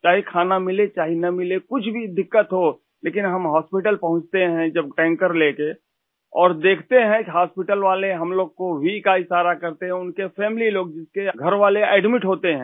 चाहे खाना मिलेचाहे न मिले कुछ भी दिक्कत हो लेकिन हम हॉस्पिटल पहुँचते हैं जब टैंकर लेके और देखते हैं कि हॉस्पिटल वाले हम लोगों को Vका इशारा करते हैं उनके फैमिली लोग जिसके घरवाले एडमिट होते हैं